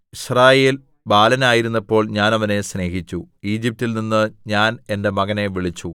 യിസ്രായേൽ ബാലനായിരുന്നപ്പോൾ ഞാൻ അവനെ സ്നേഹിച്ചു ഈജിപ്റ്റിൽ നിന്ന് ഞാൻ എന്റെ മകനെ വിളിച്ചു